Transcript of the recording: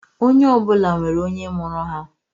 Onye ọbụla nwere onye mụrụ ha